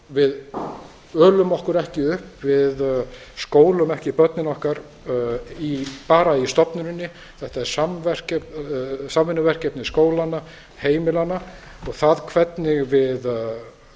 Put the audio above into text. við ölum okkur ekki upp við skólum ekki börnin okkar bara í stofnuninni þetta er samvinnuverkefni skólanna heimilanna og það hvernig við styðjum við skólastarfið